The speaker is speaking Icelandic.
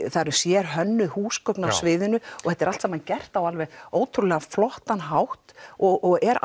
það eru sérhönnuð húsgögn á sviðinu og þetta er allt saman gert á alveg ótrúlega flottan hátt og er